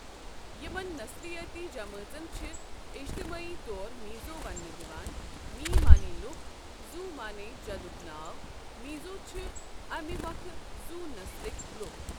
یِمن نسلِیٲتی جمٲژن چھِ اِجتِمٲعی طور میٖزو ونٛنہٕ یِوان مِی معنی لُکھ، زو معنی جَدُک ناو، میٖزو چھِ اَمہِ مۄکھٕ زو نسلٕكۍ لُکھ ۔